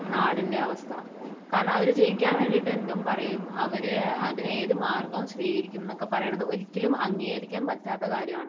നാടിൻറെ അവസ്ഥ? കാരണം അവർ ജയിക്കാൻ വേണ്ടിയിട്ട് എന്തും പറയും, അവരതിന് ഏതു മാർഗവും സ്വീകരിക്കും എന്നൊക്കെ പറയുന്നത് ഒരിക്കലും അംഗീകരിക്കാൻ പറ്റാത്ത കാര്യമാണ്.